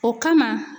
O kama